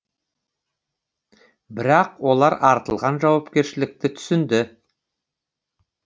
бірақ олар артылған жауапкершілікті түсінді